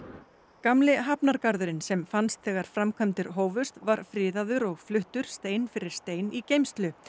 gamli hafnargarðurinn sem fannst þegar framkvæmdir hófust var friðaður og fluttur stein fyrir stein í geymslu